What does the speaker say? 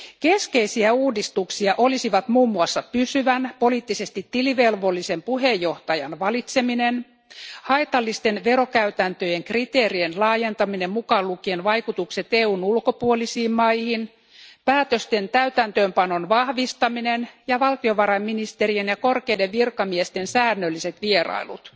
Keskeisiä uudistuksia olisivat muun muassa pysyvän, poliittisesti tilivelvollisen puheenjohtajan valitseminen, haitallisten verokäytäntöjen kriteerien laajentaminen mukaan lukien vaikutukset EUn ulkopuolisiin maihin, päätösten täytäntöönpanon vahvistaminen ja valtiovarainministerien ja korkeiden virkamiesten säännölliset vierailut.